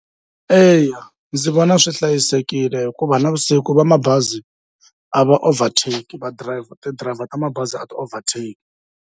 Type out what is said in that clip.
Eya ndzi vona swi hlayisekile hikuva navusiku va mabazi a va overtake va driver ti-driver ta mabazi a ti-overtake.